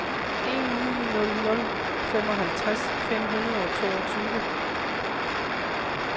en ni nul nul femoghalvtreds fem hundrede og toogtyve